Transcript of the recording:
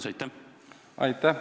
Aitäh!